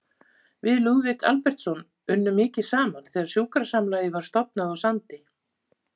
Við Lúðvík Albertsson unnum mikið saman þegar sjúkrasamlagið var stofnað á Sandi.